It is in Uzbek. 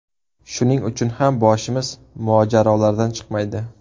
Shuning uchun ham boshimiz mojarolardan chiqmaydi.